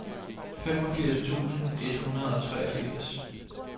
femogfirs tusind et hundrede og treogfirs